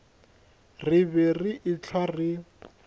re be re ehlwa re